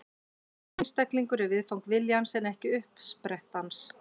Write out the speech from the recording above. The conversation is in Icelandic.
Hver einstaklingur er viðfang viljans en ekki uppspretta hans.